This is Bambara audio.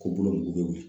Ko bolokoliw